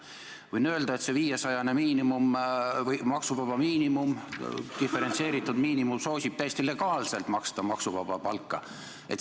Võin öelda, et see 500-eurone maksuvaba miinimum, see diferentseeritud miinimum soosib täiesti legaalselt maksuvaba palga maksmist.